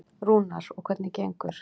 Rúnar: Og hvernig gengur?